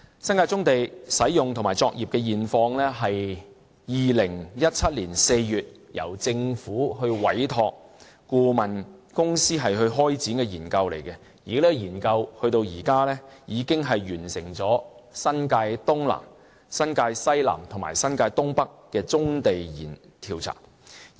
新界棕地的使用和作業現況是2017年4月由政府委託顧問公司開展的研究，而這項研究至今已完成新界東南、新界西南和新界東北的棕地調查。